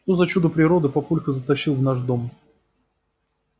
что за чудо природы папулька затащил в наш дом